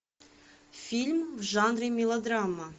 фильм в жанре мелодрама